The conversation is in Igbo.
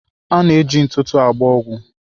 A na-eji ntụtụ agba ọgwụ.